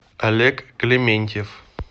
олег клементьев